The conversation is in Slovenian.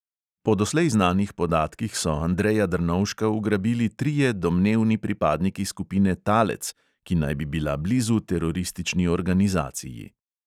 Po doslej znanih podatkih so andreja drnovška ugrabili trije domnevni pripadniki skupine talec, ki naj bi bila blizu teroristični organizaciji.